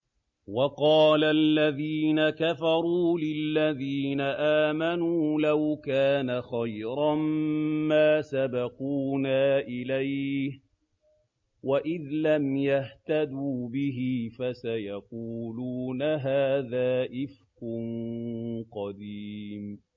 وَقَالَ الَّذِينَ كَفَرُوا لِلَّذِينَ آمَنُوا لَوْ كَانَ خَيْرًا مَّا سَبَقُونَا إِلَيْهِ ۚ وَإِذْ لَمْ يَهْتَدُوا بِهِ فَسَيَقُولُونَ هَٰذَا إِفْكٌ قَدِيمٌ